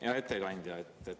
Hea ettekandja!